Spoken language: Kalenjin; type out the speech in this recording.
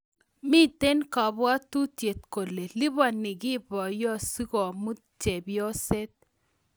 Mitei kabwatutiet kole lipani kiy boyot sikomut chepyoset